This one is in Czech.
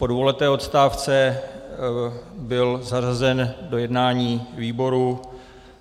Po dvouleté odstávce byl zařazen do jednání výboru.